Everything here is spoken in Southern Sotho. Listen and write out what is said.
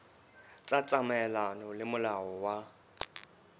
tla tsamaelana le molao wa